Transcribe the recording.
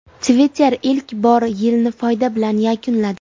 Twitter ilk bor yilni foyda bilan yakunladi.